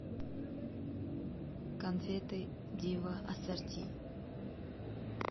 конфеты дива ассорти